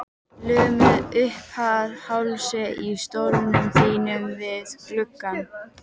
Lömuð uppað hálsi í stólnum þínum við gluggann.